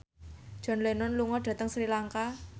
John Lennon lunga dhateng Sri Lanka